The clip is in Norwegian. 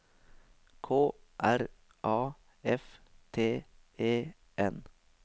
K R A F T E N